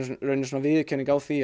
viðurkenning á því